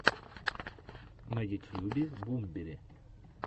на ютьюбе бумбери